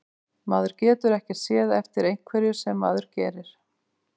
Maður getur ekkert séð eftir einhverju sem maður gerir.